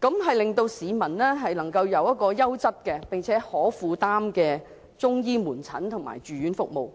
讓市民可以享有優質而且可以負擔的中醫門診及住院服務。